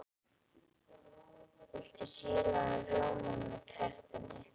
Viltu sýrðan rjóma með tertunni?